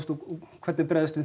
hvernig bregðumst við